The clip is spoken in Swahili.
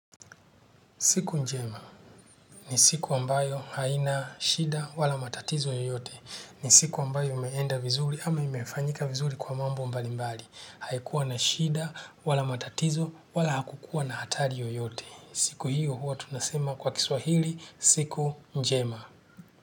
Siku njema ni siku ambayo haina shida wala matatizo yoyote. Ni siku ambayo imeenda vizuri ama imefanyika vizuri kwa mambo mbali mbali. Haikuwa na shida wala matatizo wala hakukuwa na hatari yoyote. Siku hiyo huwa tunasema kwa kiswahili siku njema.